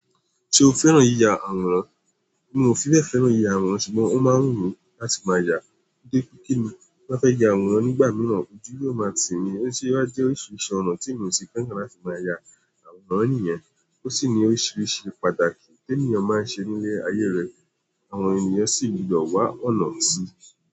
Ṣé o fẹ́ràn yíya àwòrán? Mi o fi bẹ́ẹ̀ fẹ́ràn yíya àwòrán ṣùgbọ́n ó máa ń wù mí láti máa yá. Ti ba fẹ́ ya àwòrán nígbà míràn, ojú yóò máa tì mí, osewà jẹ́ oríṣiríṣi ọ̀nà tí mi ò se feran láti máa ya àwòrán niyen ó sì ní oríṣiríṣi pàtàkì tí ènìyàn máa ń ṣe nílé ayé rẹ̀, àwọn ènìyàn sì gbọ́dọ̀ wá ọ̀nà sí.